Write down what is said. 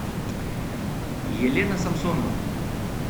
елена самсонова